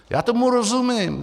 Já tomu rozumím.